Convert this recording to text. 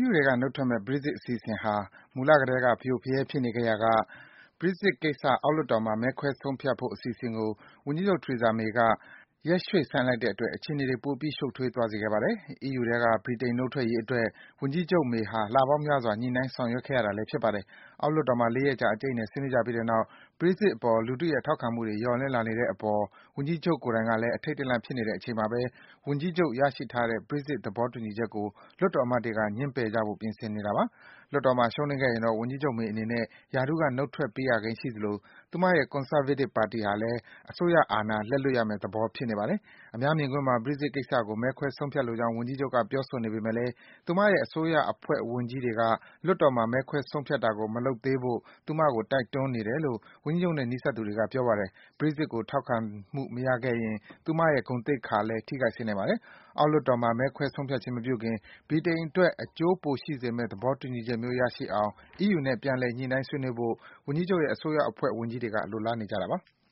ယူထဲက နုတ်ထွက်မယ့် Brexit အစီအစဉ်ဟာ မူလကတည်းက ဖရိုဖရဲ ဖြစ်နေခဲ့ရာက Brexit ကိစ္စ အောက်လွှတ်တော်မှာ မဲခွဲဆုံးဖြတ်မယ့် အစီအစဉ်ကို ဝန်ကြီးချုပ် Theresa May က ရက်ရွှေ့ဆိုင်းလိုက်တဲ့အတွက် အခြေအနေတွေ ပိုပြီး ရှုပ်ထွေး သွားစေခဲ့ပါတယ်။ အီးယူထဲက ဗြိတိန်နုတ်ထွက်ရေးအတွက် ဝန်ကြီးချုပ် May ဟာ အီးယူခေါင်းဆောင်တွေနဲ့ လပေါင်းများစွာ ညှိနှိုင်း ဆောင်ရွက်ခဲ့ရတာလည်း ဖြစ်ပါတယ်။ အောက်လွှတ်တော်မှာ ၄ ရက်ကြာ အကြိတ်အနယ် ဆွေးနွေးကြပြီးတဲ့နောက် Brexit အပေါ် လူထုရဲ့ထောက်ခံမှုတွေ လျော့နည်း လာနေတဲ့အပေါ် ဝန်ကြီးချုပ်ကိုယ်တိုင်ကလည်း အထိတ်တလန့် ဖြစ်နေတဲ့အချိန်မှာ ဝန်ကြီးချုပ် ရရှိထားတဲ့ Brexit သဘော တူညီချက်ကို လွှတ်တော်အမတ်တွေက ငြင်းပယ်ကြဖို့ ပြင်ဆင်နေတာပါ။ လွှတ်တော်မှာ ရှုံးနိမ့်ခဲ့ရင်တော့ ဝန်ကြီးချုပ် May အနေနဲ့ ရာထူးက နုတ်ထွက်ပေးရကိန်းရှိသလို ဝန်ကြီးချုပ်ရဲ့ Conservative အစိုးရလည်း အာဏာ လက်လွတ်ရမယ့်သဘော ရှိနေပါတယ်။ အများမြင်ကွင်းမှာ Brexit ကိစ္စကို မဲခွဲဆုံးဖြတ်လိုကြောင်း ဝန်ကြီးချုပ်က ပြောနေပေမယ့် သူ့အစိုးရအဖွဲ့ ဝန်ကြီးတွေက လွှတ်တော်မှာ မဲခွဲဆုံးဖြတ်တာကို မလုပ်ဖို့ သူ့ကို တိုက်တွန်းနေကြတယ်လို့ ဝန်ကြီးချုပ်နဲ့ နီးစပ်သူတွေက ပြောပါတယ်။ Brexit ကို ထောက်ခံမှု မရခဲ့ရင် သူ့ရဲ့ ဂုဏ်သိက္ခာလည်း ထိခိုက်စေနိုင်ပါတယ်။ အောက်လွှတ်တော်မှာ မဲခွဲဆုံးဖြတ်ခြင်း မပြုခင် ဗြိတိန်အတွက် အကျိုးပိုရှိစေမယ့် သဘောတူညီချက်မျိုး ရနိုင်အောင် အီးယူနဲ့ ပြန်လည် ညှိနှိုင်း ဆွေးနွေးဖို့ ဝန်ကြီးချုပ်ရဲ့ အစိုးရအဖွဲ့ ဝန်ကြီးတွေက လိုလားနေကြတာပါ။